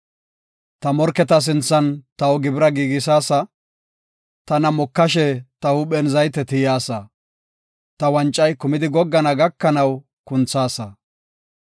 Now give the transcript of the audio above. Ta morketa sinthan taw gibira giigisaasa; tana mokashe, ta huuphen zayte tiyaasa; ta wancay kumidi goggana gakanaw kunthaasa.